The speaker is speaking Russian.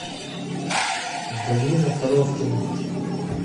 галина коровкина